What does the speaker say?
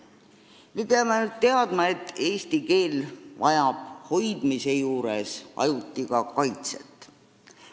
Me peame ainult teadma, et eesti keel vajab hoidmise juures ajuti ka kaitset.